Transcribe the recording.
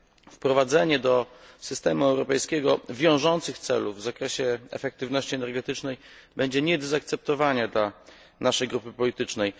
Wprowadzenie do systemu europejskiego wiążących celów w zakresie efektywności energetycznej będzie nie do zaakceptowania dla naszej grupy politycznej.